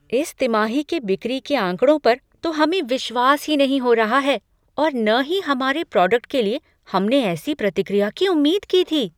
इस तिमाही के बिक्री के आँकड़ों पर तो हमें विश्वास ही नहीं हो रहा है और न ही हमारे प्रोडक्ट के लिए हमने ऐसी प्रतिक्रिया की उम्मीद की थी।